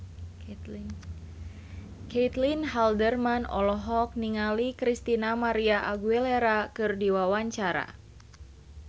Caitlin Halderman olohok ningali Christina María Aguilera keur diwawancara